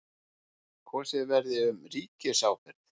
Kosið verði um ríkisábyrgð